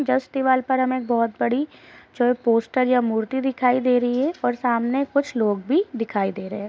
Just दीवाल पर हमें बहुत बड़ी जो पोस्टर या मूर्ति दिखाई दे रही है और सामने कुछ लोग भी दिखाई दे रहे हैं ।